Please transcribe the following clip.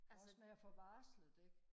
også med at få varslet det ikke